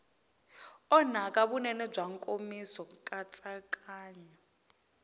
onhaka vunene bya nkomiso nkatsakanyo